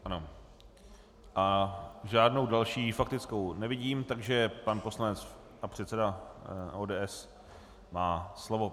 Ano a žádnou další faktickou nevidím, takže pan poslanec a předseda ODS má slovo.